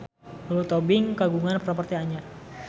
Lulu Tobing kagungan properti anyar